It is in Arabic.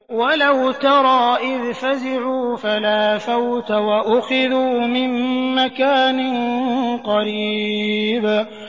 وَلَوْ تَرَىٰ إِذْ فَزِعُوا فَلَا فَوْتَ وَأُخِذُوا مِن مَّكَانٍ قَرِيبٍ